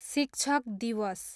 शिक्षक दिवस